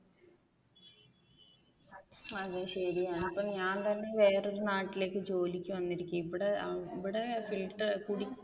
അതും ശരിയാണ് ഇപ്പൊ ഞാൻ തന്നെ വേറെ ഒരു നാട്ടിലേക്ക് ജോലിക്ക് വന്നിരിക്കെണ് ഇവിടെ